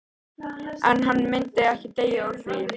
En hann myndi ekki deyja úr því.